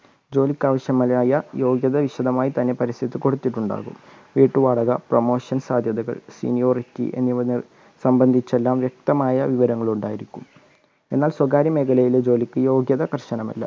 ജോലിക്ക്‌ ആവശ്യമായ യോഗ്യത വിശദമായി തന്നെ പരസ്യത്തിൽ കൊടുത്തിട്ടുണ്ടാകും വീട്ടുവാടക promotion സാധ്യതകൾ seniority എന്നിവ സംബന്ധിച്ചുള്ള വ്യക്തമായ വിവരങ്ങൾ ഉണ്ടായിരിക്കും എന്നാൽ സ്വകാര്യ മേഖലയിലെ ജോലിക്ക് യോഗ്യത കർശനമല്ല